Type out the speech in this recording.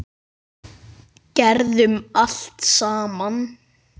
Gerðum allt saman.